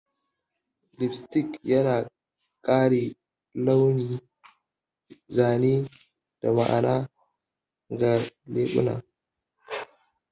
Lipstick yana ƙara launi, zane, da ma'ana ga leɓuna